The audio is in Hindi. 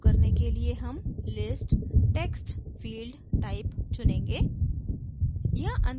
इसे लागू करने के लिए हम list text field type चुनेंगे